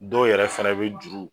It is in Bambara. Dɔw yɛrɛ fɛnɛ bɛ juru